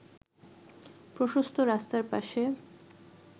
প্রশস্ত রাস্তার পাশে